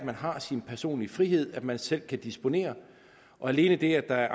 man har sin personlige frihed og at man selv kan disponere og alene det at der er